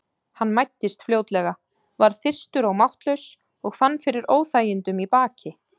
Hann mæddist fljótlega, varð þyrstur og máttlaus og fann fyrir óþægindum í baki.